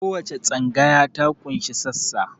Kowace tsangaya ta ƙunshi sassa